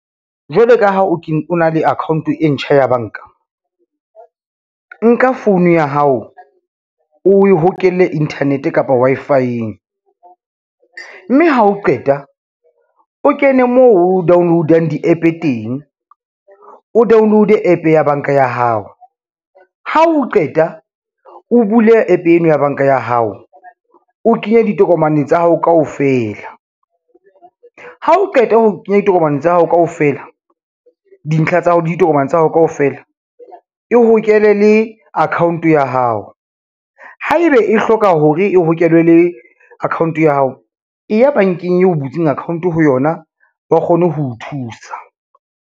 Jwale ka ha o na le account e ntjha ya banka, nka phone ya hao oe hokele internet kapa Wi-Fi-eng, mme ha o qeta o kene moo o download-ang di-App-e teng o download-e App ya banka ya hao. Ha o qeta o bule App eno ya banka ya hao, o kenye ditokomane tsa hao kaofela, ha o qeta ho kenya ditokomane tsa hao kaofela, dintlha tsa hao le ditokomane tsa hao kaofela. E hokele le account ya hao, haebe e hloka hore e hokele le account ya hao, e ya bankeng eo butseng account-o ho yona ba kgone ho o thusa.